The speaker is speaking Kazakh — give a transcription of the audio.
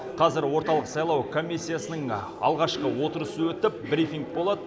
қазір орталық сайлау комиссиясының алғашқы отырысы өтіп брифинг болады